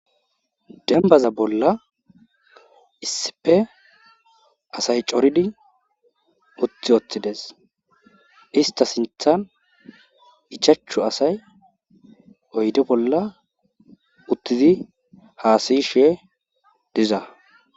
Dembbaza bolla issippe asay coridi uthi wothide istta sinthan ichaachu oyde bolla uttidi haasayishe diza.